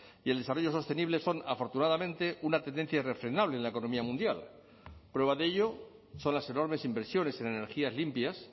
y el desarrollo sostenible son afortunadamente una tendencia irrefrenable en la economía mundial prueba de ello son las enormes inversiones en energías limpias